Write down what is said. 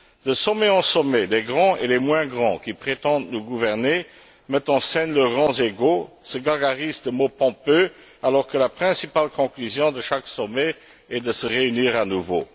De sommet en sommet, les grands et les moins grands qui prétendent nous gouverner mettent en scène leurs grands égos, se gargarisent de mots pompeux, alors que la principale conclusion de chaque sommet est de se réunir à nouveau.